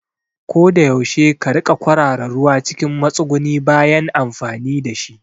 Koda yaushe ka riƙa kwarara ruwa cikin matsuguni bayan amfani dashi